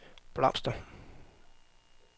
blomster